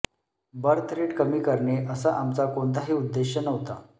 birth rate कमी करणे असा आमचा कोणताही उद्देश नव्हता